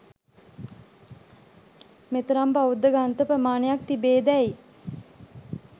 මෙතරම් බෞද්ධ ග්‍රන්ථ ප්‍රමාණයක් තිබේදැයි